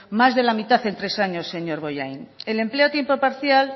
más de la mitad en tres años señor bollain el empleo a tiempo parcial